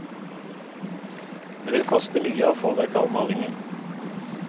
Det vil koste mye å få vekk all malingen.